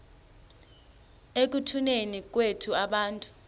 ekutuneni kwethu abantu